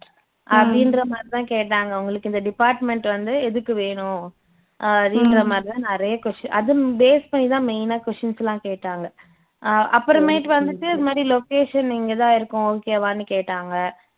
அப்படின்ற மாதிரி தான் கேட்டாங்க உங்களுக்கு இந்த department வந்து எதுக்கு வேணும் அப்படின்ற மாதிரி தான் நிறையா கொஷ் அது base பண்ணிதான் main ஆ questions எல்லாம் கேட்டாங்க அஹ் அப்பறமேட்டு வந்துட்டு இது மாதிரி location இங்கதான் இருக்கும் okay வான்னு கேட்டாங்க